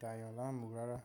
dá èèyàn láàmú rárá.